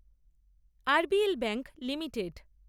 RBL bank limited